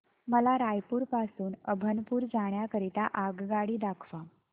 मला रायपुर पासून अभनपुर जाण्या करीता आगगाडी दाखवा